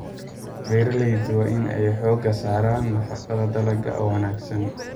Beeraleydu waa in ay xoogga saaraan nafaqada dalagga oo wanaagsan.